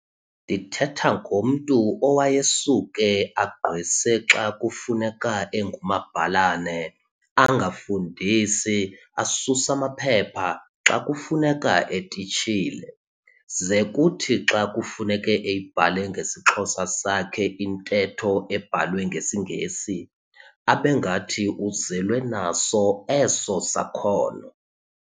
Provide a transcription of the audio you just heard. Ndithetha ngomntu owayesuke aqgwese xa kufuneka engumabhalane, angafundisi asus'amaphepha xa kufuneka etitshile, ze kuthi xa kufuneke eyibhale ngesiXhosa sakhe intetho ebhalwe ngesiNgesi, abengathi uzelwe naso eso sakhono.